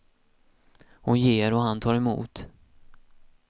Hon ger och han tar emot.